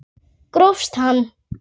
Grófst hann!